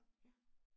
Ja